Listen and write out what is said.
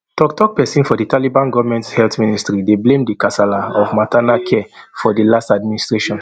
toktok pesin for di taliban goment health ministry dey blame di kasala of maternal care for di last administration